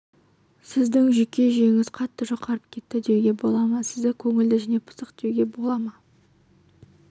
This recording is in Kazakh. сіздің жүйке жүйеңіз қатты жұқарып кетті деуге бола ма сізді көңілді және пысық деуге бола ма